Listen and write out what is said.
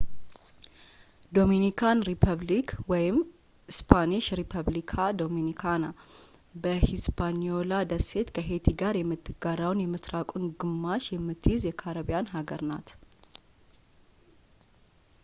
ዶሚኒካን ሪፐብሊክ እስፓኒሽ:- ሪፐብሊካ ዶሚኒካና በሂስፓኒዮላ ደሴት ከሄይቲ ጋር የምትጋራውን የምሥራቁን ግማሽ የምትይዝ የካሪቢያን አገር ናት